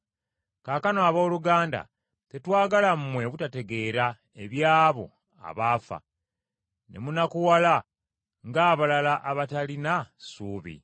Kaakano, abooluganda tetwagala mmwe obutategeera eby’abo abafu, ne munakuwala ng’abalala abatalina ssuubi.